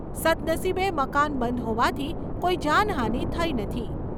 સદ્દનસીબે મકાન બંધ હોવાથી કોઈ જાનહાની થઈ નથી.